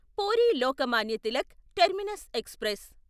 puri Lokmanya Tilak terminus express